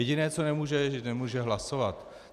Jediné, co nemůže, je, že nemůže hlasovat.